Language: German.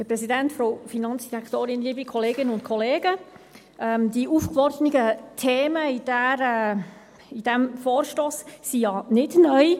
Die in diesem Vorstoss aufgeworfenen Themen sind ja nicht neu.